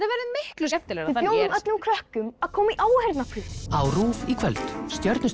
verður miklu skemmtilegra við bjóðum öllum krökkum að koma í áheyrnarprufur á RÚV í kvöld